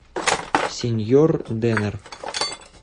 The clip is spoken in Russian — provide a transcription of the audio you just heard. сеньорденер